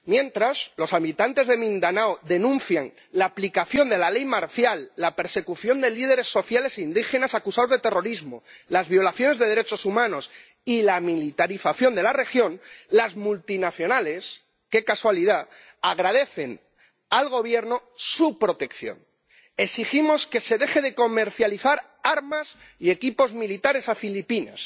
Mientras los habitantes de Mindanao denuncian la aplicación de la ley marcial, la persecución de líderes sociales indígenas acusados de terrorismo, las violaciones de derechos humanos y la militarización de la región, las multinacionales —¡qué casualidad!— agradecen al Gobierno su protección. Exigimos que se dejen de comercializar armas y equipos militares a Filipinas